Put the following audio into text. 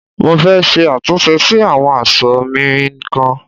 Mo fẹ́ ṣe àtúnṣe sí àwọn aṣọ ọ̀ mi kan.